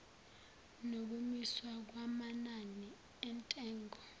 nokumiswa kwamanani entengo